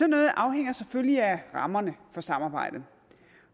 noget afhænger selvfølgelig af rammerne for samarbejdet